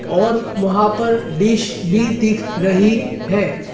और वहां पर डिश भी दिख रही है।